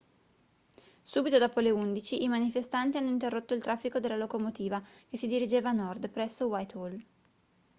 subito dopo le 11:00 i manifestanti hanno interrotto il traffico della locomotiva che si dirigeva a nord presso whitehall